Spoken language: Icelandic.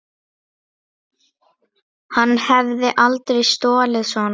Hann hefði aldrei stolið svona.